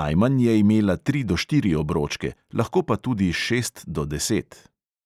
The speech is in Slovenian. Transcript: najmanj je imela tri do štiri obročke, lahko pa tudi šest do deset.